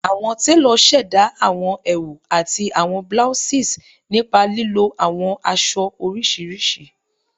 Awọn telo ṣẹda awọn ẹwu ati awọn blouses nipa lilo awọn aṣọ oriṣiriṣi